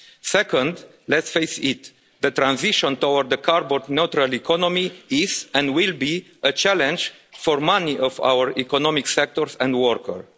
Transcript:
Second, let's face it, the transition toward a carbon-neutral economy is, and will be, a challenge for many of our economic sectors and workers.